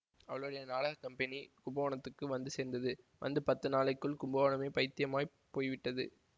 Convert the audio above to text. அவளுடைய நாடக கம்பெனி கும்பகோணத்துக்கு வந்து சேர்ந்தது வந்து பத்து நாளைக்குள் கும்பகோணமே பயித்தியமாய்ப் போய்விட்டது